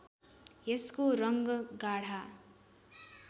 यसको रङ्ग गाढा